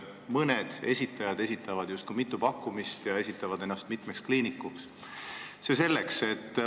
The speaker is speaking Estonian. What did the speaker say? Mõned on esitanud mitu pakkumist ja seal mitme kliinikuna esinenud, aga see selleks.